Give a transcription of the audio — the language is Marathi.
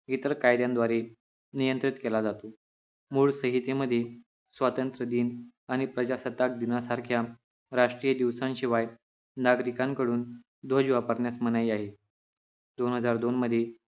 इतर कायद्याद्वारे नियंत्रित केला जातो मूळ संहितेमधे स्वातंत्र दिन आणि प्रजासत्ताक दिना सारख्या राष्ट्रीय दिवसा शिवाय नागरिकांकडून ध्वज वापरण्यास मनाई आहे दोन हजार दोन मधे